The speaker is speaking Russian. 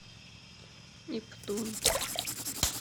нептун